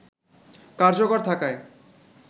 কার্যকর থাকায়